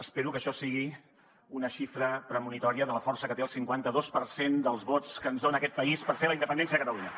espero que això sigui una xifra premonitòria de la força que té el cinquanta dos per cent dels vots que ens dona aquest país per fer la independència de catalunya